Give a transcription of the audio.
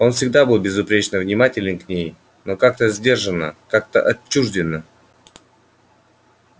он всегда был безупречно внимателен к ней но как-то сдержанно как-то отчуждённо